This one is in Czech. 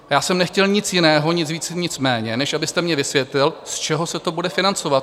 Já jsem nechtěl nic jiného, nic víc, nic méně, než abyste mně vysvětlil, z čeho se to bude financovat.